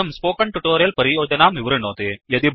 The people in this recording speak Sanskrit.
इदं स्पोकन् ट्योटोरियल् परियोजनां विवृणोति